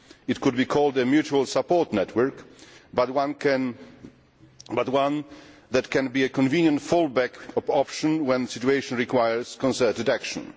It could be called a mutual support network, but one that can be a convenient fall back option when the situation requires concerted action.